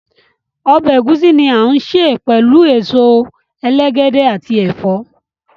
Ọbẹ ẹgusi ni a ǹ se pẹlu awọn èsó èlègédé ati ẹfọ.